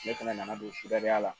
Ne fɛnɛ nana don suda la